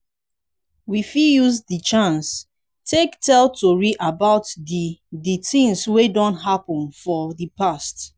we fit use di chance take tell tori about di di things wey don happen for di past